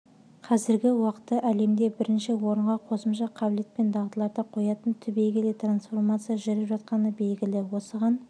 қазіргі уақытта әлемде бірінші орынға қосымша қабілет пен дағдыларды қоятын түбегейлі трансформация жүріп жатқаны белгілі осыған